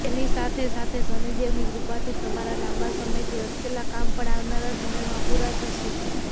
તેની સાથે સાથે શનિદેવની કૃપાથી તમારા લાંબા સમયથી અટકેલા કામ પણ આવનારા સમયમાં પુરા થશે